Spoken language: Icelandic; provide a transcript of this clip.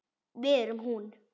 Við erum hún.